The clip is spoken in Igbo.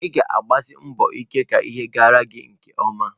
Ị ga-agbasi mbọ ike ka ihe gara gi nke ọma.